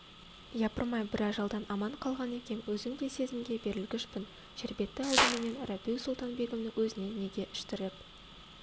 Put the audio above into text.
япырмай бір ажалдан аман қалған екем өзім де сезімге берілгішпін шербетті алдыменен рабиу-сұлтан-бегімнің өзіне неге іштіріп